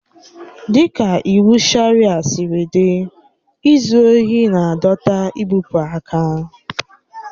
Dịka iwu Sharịa siri dị, izu ohi na-adọta igbụpụ aka.